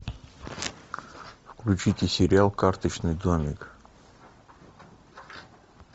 включите сериал карточный домик